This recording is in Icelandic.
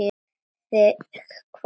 Þig hvað?